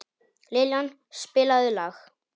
Liljan, spilaðu lag.